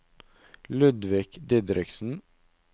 Ludvig Didriksen